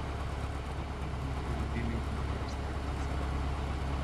Piknik bomo priredili na drugi strani jezera.